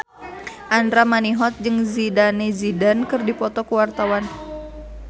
Andra Manihot jeung Zidane Zidane keur dipoto ku wartawan